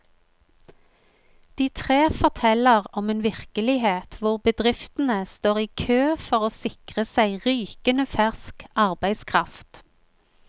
De tre forteller om en virkelighet hvor bedriftene står i kø for å sikre seg rykende fersk arbeidskraft.